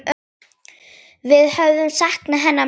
Við höfum saknað hennar mjög.